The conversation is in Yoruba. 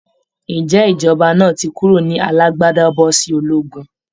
Ǹjé ìjọba náà ti kúrò ní alágbádá bọ́ sí ológun?